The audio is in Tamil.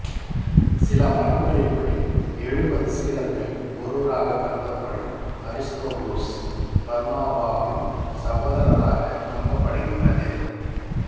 சில மரபுகளின் படி எழுபது சீடர்களில் ஒருவராகக்கருதப்படும் அரிஸ்தோபுலுஸ் பர்னபாவின் சகோதரராக நம்பப்படுகின்றது